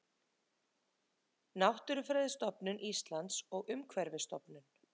Náttúrufræðistofnun Íslands og Umhverfisstofnun.